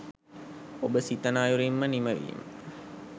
ඔබ සිතන අයුරින්ම නිමවීම